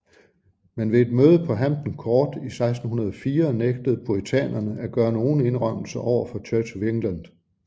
Men ved et møde på Hampton Court i 1604 nægtede puritanerne at gøre nogen indrømmelser overfor Church of England